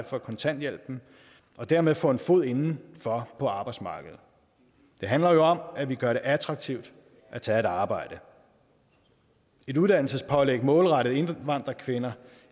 for kontanthjælpen og dermed få en fod indenfor på arbejdsmarkedet det handler jo om at vi gør det attraktivt at tage et arbejde et uddannelsespålæg målrettet indvandrerkvinder